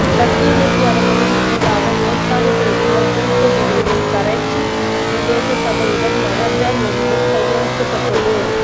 சத்தியமூர்த்தி அவர்களின் நினைவாக ஏற்பாடு செய்துள்ள குறித்த நிகழ்வில் கரைச்சி பிரதேச சபையிடம் மகஜர் ஒன்றும் கையளிக்கப்பட்டது